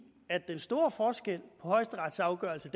at den store forskel på højesterets afgørelse